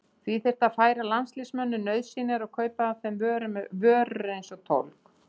Því þyrfti að færa landsmönnum nauðsynjar og kaupa af þeim vörur eins og tólg.